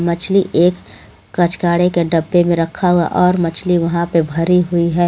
मछली एक कचकाड़े के डब्बे में रखा हुआ और मछली वहा पे भरी हुई है.